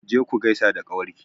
Je ku gaisa da ƙawar ki!